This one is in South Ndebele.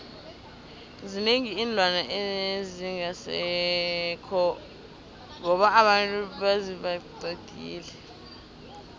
zinengi iinlwana ezingasekho ngoba abantu baziqedile